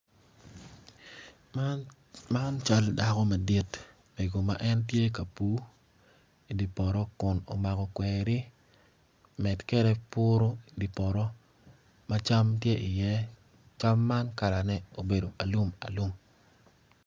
Man cal dako madit mego ma en tye ka pur idi poto kun omako kweri med kede puro di poto ma cam tye iye cam man kalane obedo alumalum.